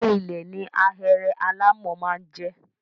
Ilé -ilẹ̀ ni ahéré alámọ̀ máa ń jẹ́.